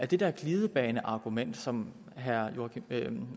det der glidebaneargument som herre